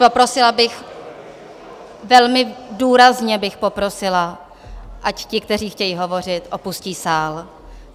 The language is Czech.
Poprosila bych, velmi důrazně bych poprosila, ať ti, kteří chtějí hovořit, opustí sál.